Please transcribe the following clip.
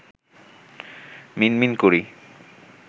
মিনমিন করি